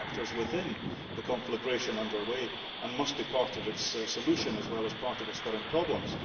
they are actors within the conflagration under way and must be part of its solution as well as part of its current problems.